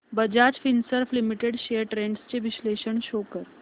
Bajaj Finserv limited shares trends चे विश्लेषण show कर